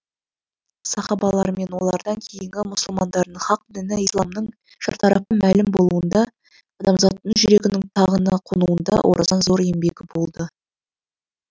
сахабалар мен олардан кейінгі мұсылмандардың хақ діні исламның шартарапқа мәлім болуында адамзаттың жүрегінің тағына қонуында орасан зор еңбегі болды